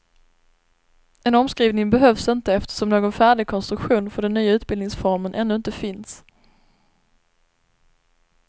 En omskrivning behövs inte eftersom någon färdig konstruktion för den nya utbildningsformen ännu inte finns.